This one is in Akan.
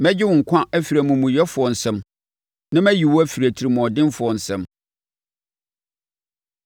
“Mɛgye wo nkwa afiri amumuyɛfoɔ nsam na mayi wo afiri atirimuɔdenfoɔ nsam.”